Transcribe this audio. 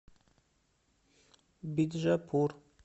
биджапур